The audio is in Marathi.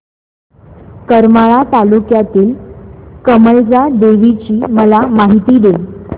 करमाळा तालुक्यातील कमलजा देवीची मला माहिती दे